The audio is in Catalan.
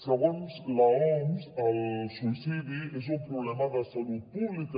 segons l’oms el suïcidi és un problema de salut pública